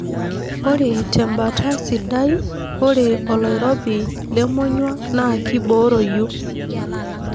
Ore tembata sidai ore oloirobi lemonyua naa kiboroyu.